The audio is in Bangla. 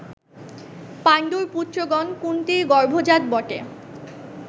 পাণ্ডুর পুত্রগণ, কুন্তীর গর্ভজাত বটে